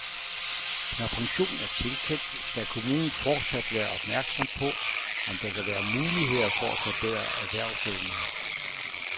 Når pension er tilkendt, skal kommunen fortsat være opmærksom på, om der kan være muligheder for at forbedre erhvervsevnen.